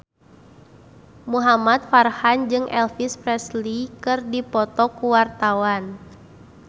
Muhamad Farhan jeung Elvis Presley keur dipoto ku wartawan